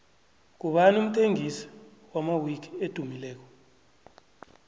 ngubani umthengisi wamawiki edumileko